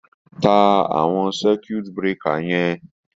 Ta àwọn circiut breaker yẹn.